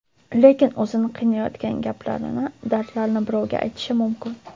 Lekin o‘zini qiynayotgan gaplarini, dardlarini birovga aytishi mumkin.